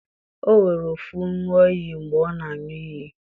o were ofo ṅụọ iyi mgbe ọ na-aṅụ iyi.